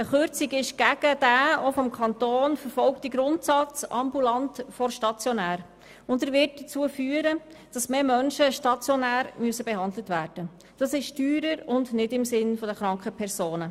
Eine Kürzung ist gegen den auch vom Kanton verfolgten Grundsatz «ambulant vor stationär», und sie wird dazu führen, dass mehr Menschen stationär behandelt werden müssen, was teurer und nicht im Sinn der kranken Person ist.